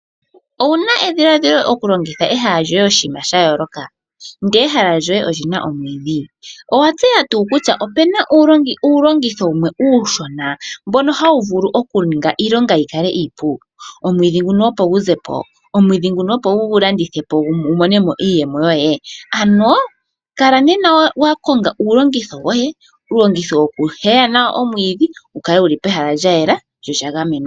Owuna edhiladhilo okulongitha ehala lyoye oshiima sha yooloka ndele ehala lyoye olina omwiidhi? Owatseya tuu kutya opena uulongitho wumwe uushona mbono hawu vulu okuninga iilonga yikale iipu ? Omwiidhi nguno opo gu zepo , omwiidhi nguno opo wugulandithepo wumonemo iiyemo yoye. Ano kala nena wakonga uulongitho woye . Uulongitho wokuheya nawo omwiidhi wukale wuli pehala lyayela lyo olya gamenwa.